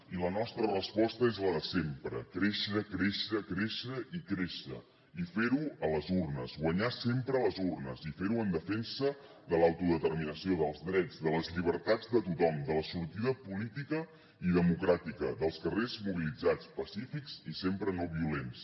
i la nostra resposta és la de sempre créixer créixer créixer i créixer i fer ho a les urnes guanyar sempre a les urnes i fer ho en defensa de l’autodeterminació dels drets de les llibertats de tothom de la sortida política i democràtica dels carrers mobilitzats pacífics i sempre no violents